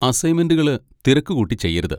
അസൈൻമെന്റുകള് തിരക്കുകൂട്ടി ചെയ്യരുത്.